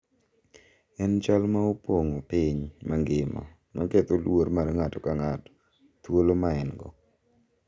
En chal ma opong’o piny mangima ma ketho luor mar ng’ato ka ng’ato, thuolo ma en-go,